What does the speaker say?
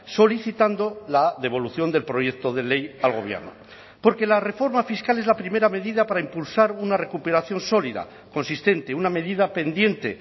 solicitando la devolución del proyecto de ley al gobierno porque la reforma fiscal es la primera medida para impulsar una recuperación sólida consistente una medida pendiente